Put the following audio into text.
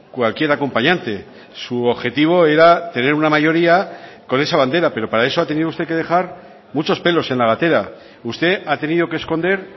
cualquier acompañante su objetivo era tener una mayoría con esa bandera pero para eso ha tenido usted que dejar muchos pelos en la gatera usted ha tenido que esconder